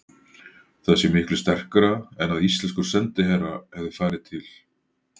Það sé miklu sterkara en að íslenskur sendiherra hefði farið til